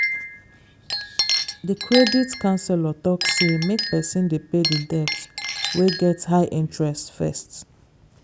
the credit counselor talk say make person dey pay the debts wey get high interest first.